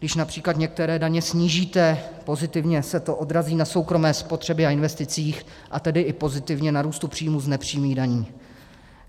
Když například některé daně snížíte, pozitivně se to odrazí na soukromé spotřebě a investicích, a tedy i pozitivně na růstu příjmů z nepřímých daní.